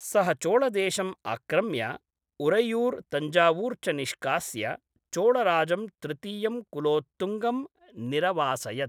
सः चोळदेशम् आक्रम्य उरैयुर्, तञ्जावुर् च निष्कास्य चोळराजं तृतीयं कुलोत्तुङ्गं निरवासयत्।